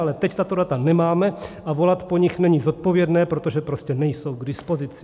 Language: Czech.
Ale teď tato data nemáme a volat po nich není zodpovědné, protože prostě nejsou k dispozici.